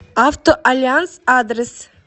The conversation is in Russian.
автоальянс адрес